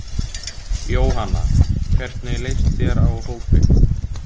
Jóhanna: Hvernig leist þér á hópinn?